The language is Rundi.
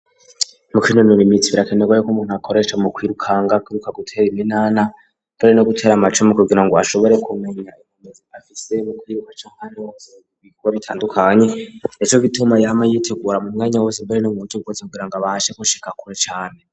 Mu kwinonera imitsi birakenerwa yo ko umuntu akoresha mu kwirukanga kwiruka gutera iminana bere no gutera amacumi kubgira ngo ashobore kumenya inkumezi afise mu kwiruka co nkaro bikore ritandukanye ejo bituma yama yitegura mu mwanya wose bere no muburyo gukose kugira ngo abashe ko shika kure cane.